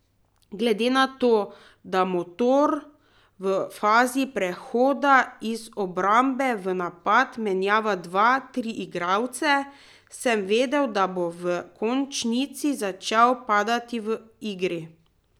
Glede na to, da Motor v fazi prehoda iz obrambe v napad menjava dva, tri igralce, sem vedel, da bo v končnici začel padati v igri.